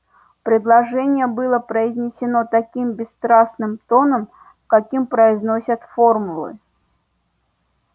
предложение было произнесено таким бесстрастным тоном каким произносят формулы